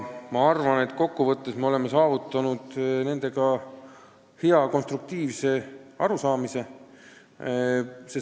Ma arvan, et kokkuvõttes oleme saavutanud hea konstruktiivse lahenduse.